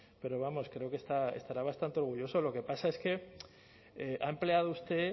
pero vamos creo que estará bastante orgulloso lo que pasa es que ha empleado usted